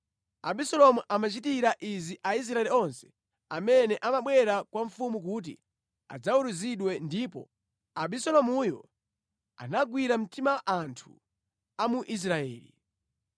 Abisalomu amachitira izi Aisraeli onse amene amabwera kwa mfumu kuti adzaweruzidwe ndipo Abisalomuyo anagwira mtima anthu a mu Israeli.